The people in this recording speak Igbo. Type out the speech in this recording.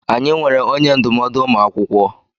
Anyị nweere onye ndụmọdụ ụmụ akwụkwọ.